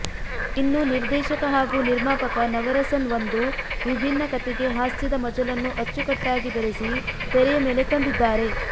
ಇನ್ನು ನಿರ್ದೇಶಕ ಹಾಗೂ ನಿರ್ಮಾಪಕ ನವರಸನ್ ಒಂದು ವಿಭಿನ್ನ ಕಥೆಗೆ ಹಾಸ್ಯದ ಮಜಲನ್ನು ಅಚ್ಚುಕಟ್ಟಾಗಿ ಬೆರೆಸಿ ತೆರೆಯ ಮೇಲೆ ತಂದಿದ್ದಾರೆ